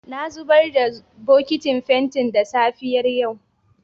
Na zubar da bokitin fenti yau da safiyar.